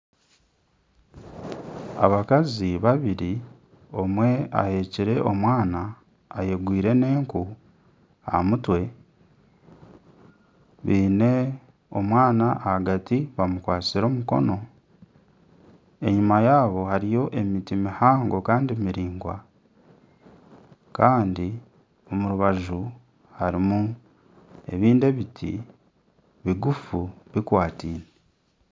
Abakazi babiri omwe aheekire omwana ayegwire n'enku aha mutwe biine omwana ahagati bamukwatsire omukono enyuma yaabo hariyo emiti mihango kandi miraingwa kandi omu rubaju harimu ebindi ebiti biguufu bikwataine.